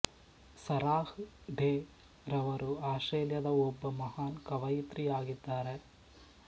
Sarah Day ರವರು ಆಸ್ಟ್ರೇಲಿಯಾದ ಒಬ್ಬ ಮಹಾನ್ ಕವಯಿತ್ರಿ ಯಾಗಿದ್ದಾರೆ